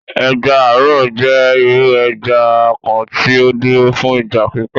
Ẹja-àrò jẹ iru ẹja kan tí ó dúro fún ìgbà pípẹ.